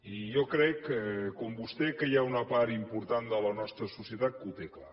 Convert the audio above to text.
i jo crec com vostè que hi ha una part important de la nostra societat que ho té clar